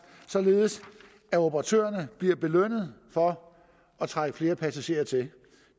således at operatørerne bliver belønnet for at trække flere passagerer til